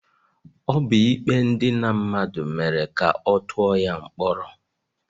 Ọ bụ ikpe idina mmadụ mere ka ọ tụọ ya mkpọrọ.